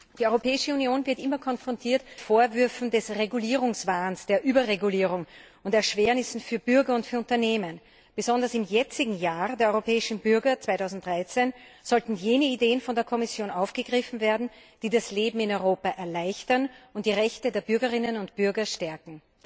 Die Europäische Union wird immer mit Vorwürfen des Regulierungswahns, der Überregulierung und der Schaffung von Erschwernissen für Bürger und für Unternehmen konfrontiert. Besonders im jetzigen Jahr der europäischen Bürger 2013 sollten jene Ideen von der Kommission aufgegriffen werden, die das Leben in Europa erleichtern und die Rechte der Bürgerinnen und Bürger stärken.